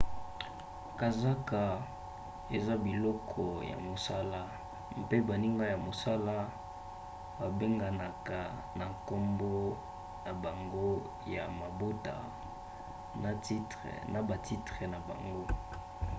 kazaka eza biloko ya mosala mpe baninga ya mosala babenganaka na nkombo na bango ya mobota na batitre na bango